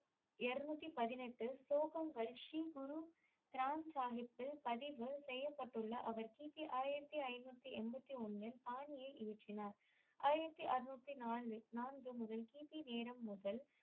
இருநூத்தி பதினெட்டு ஸ்லோகங்கள் ஸ்ரீ குரு கிரந்த்சாகிப்பில் பதிவு செய்யப்பட்டுள்ள அவர் கி. பி ஆயிரத்தி ஐநூத்தி எண்பத்தி ஒன்னில் பாணியை ஏற்றினார் ஆயிரத்தி அறநூத்தி நாலு நான்கு முதல் கி. பி நேரம் முதல்